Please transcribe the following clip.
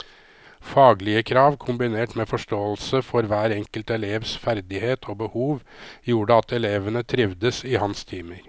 Faglige krav kombinert med forståelse for hver enkelt elevs ferdighet og behov gjorde at elevene trivdes i hans timer.